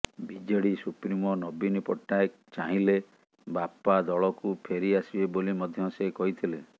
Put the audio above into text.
BJD supremo ନବୀନ ପଟ୍ଟନାୟକ ଚାହିଁଲେ ବାପା ଦଳକୁ ଫେରି ଆସିବେ ବୋଲି ମଧ୍ୟ ସେ କହିଥିଲେ